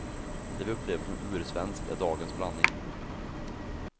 Det vi upplever som ursvenskt är dagens blandning.